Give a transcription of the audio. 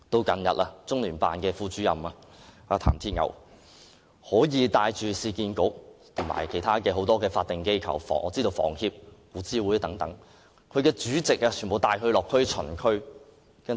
近日，中聯辦副主任譚鐵牛更帶領市區重建局和其他多個法定機構，例如香港房屋協會和古物諮詢委員會等的主席落區巡視。